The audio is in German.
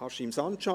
Haşim Sancar.